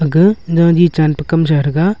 aka jali chanpa kamsa threga.